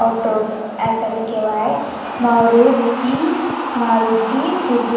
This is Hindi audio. ऑटोस मारूटी मारुति सुजू--